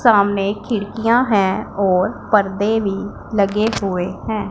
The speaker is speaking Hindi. सामने खिड़कियाँ हैं और पर्दे भी लगे हुए है।